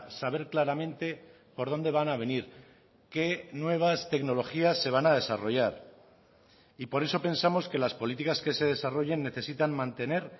saber claramente por dónde van a venir qué nuevas tecnologías se van a desarrollar y por eso pensamos que las políticas que se desarrollen necesitan mantener